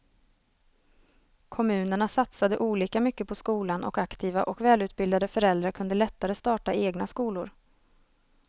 Kommunerna satsade olika mycket på skolan och aktiva och välutbildade föräldrar kunde lättare starta egna skolor.